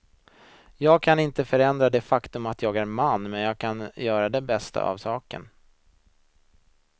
Jag kan inte förändra det faktum att jag är man men jag kan göra det bästa av saken.